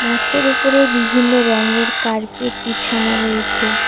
মাঠের ওপরে বিভিন্ন রংয়ের কার্পেট বিছানো রয়েছে।